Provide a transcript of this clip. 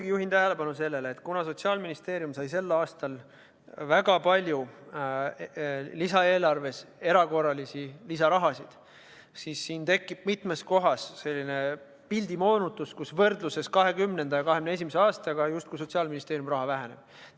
Ma juhin tähelepanu sellele, et kuna Sotsiaalministeerium sai sel aastal lisaeelarves väga palju erakorralist lisaraha, siis tekib siin mitmes kohas selline pildi moonutus, mistõttu võrdluses 2020. ja 2021. aastaga Sotsiaalministeeriumi raha hulk justkui väheneb.